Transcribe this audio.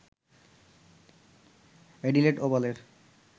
Adelaide ওভালের